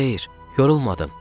Xeyr, yorulmadım.